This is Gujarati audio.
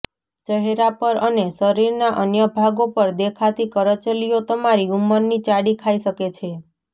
ચહેરા પર અને શરીરના અન્ય ભાગો પર દેખાતી કરચલીઓ તમારી ઉંમરની ચાડી ખાઈ શકે છે